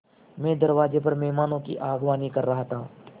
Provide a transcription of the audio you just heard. मैं दरवाज़े पर मेहमानों की अगवानी कर रहा था